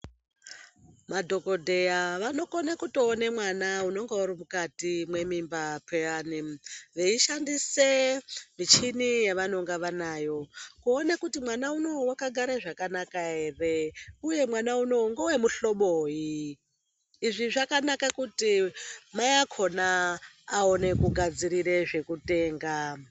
Madhokodheya vanokone kutoone mwana unonga uri mukati mwemimba pheyani veishandise michini yavanenge vanayo kuone kuti mwana unowu wakagare zvakanaka ere uye kuti mwana unowu ngewemuhloboyi. Izvi zvakanakira kuti mai akhona aone kugadzirire zvekutenga.